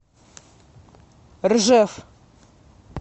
ржев